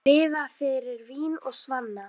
Lifa fyrir vín og svanna.